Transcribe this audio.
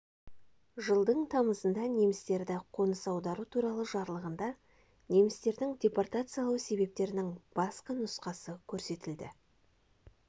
жылдың тамызында немістерді қоныс аудару туралы жарлығында немістердің депортациялау себептерінің бастапқы нұсқасы көрсетілді